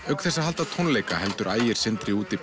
auk þess að halda tónleika heldur Ægir Sindri úti